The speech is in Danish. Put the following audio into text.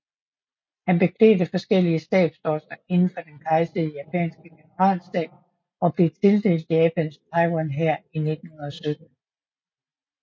Han beklædte forskellige stabsposter indenfor den kejserlige japanske generalstab og blev tildelt Japans Taiwanhær i 1917